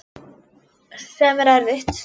Sem er erfitt.